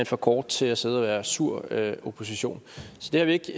for kort til at sidde og være sur opposition så det har vi ikke